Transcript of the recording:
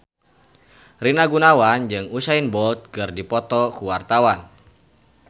Rina Gunawan jeung Usain Bolt keur dipoto ku wartawan